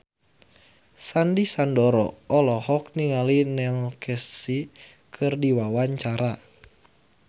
Sandy Sandoro olohok ningali Neil Casey keur diwawancara